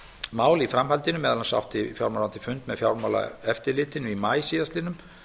mál í framhaldinu meðal annars átti fjármálaráðuneytið fund með fjármálaeftirlitinu í maí síðastliðinn